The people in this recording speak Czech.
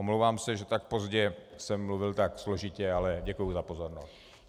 Omlouvám se, že tak pozdě jsem mluvil tak složitě, ale děkuji za pozornost.